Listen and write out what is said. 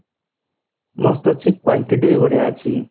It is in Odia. mast ଅଛି quantity ବି ବଢିଆ ଅଛି